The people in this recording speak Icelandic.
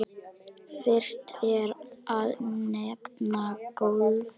Fyrst er að nefna golfið.